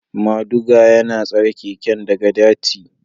Moduga yana tsare keken daga dirty.